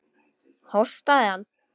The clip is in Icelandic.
Hóstaði hann?